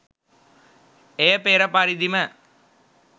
එය පෙර පරිදිම